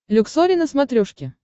люксори на смотрешке